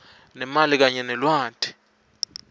nemali kanye nelwati